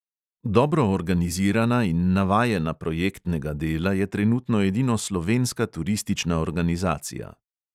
Dobro organizirana in navajena projektnega dela je trenutno edino slovenska turistična organizacija.